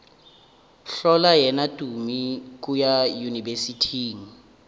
hlola yena tumi kua yunibesithing